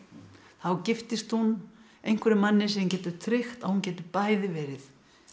þá giftist hún einhverjum manni sem getur tryggt að hún geti bæði verið